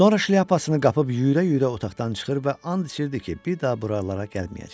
Sonra şlyapasını qapıb yüyürə-yüyürə otaqdan çıxır və ant içirdi ki, bir daha buralara gəlməyəcək.